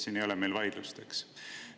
Selles ei ole meil vaidlust, eks.